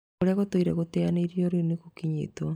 Ona kũrĩa gũtũire gũteyanĩirio rĩu nĩgũkinyĩtwo